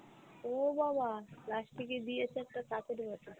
ও বাবা last এ গিয়ে দিয়েছে একটা কাঁচের বাটি!